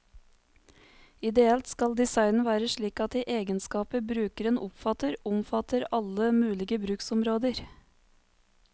Ideelt skal designen være slik at de egenskaper brukeren oppfatter, omfatter alle mulige bruksområder.